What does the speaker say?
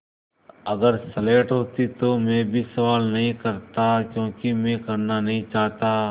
अगर स्लेट होती तो भी मैं सवाल नहीं करता क्योंकि मैं करना नहीं चाहता